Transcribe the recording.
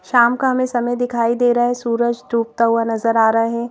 शाम का हमे समय दिखाई दे रहा है सूरज डूबता हुआ नजर आ रहे--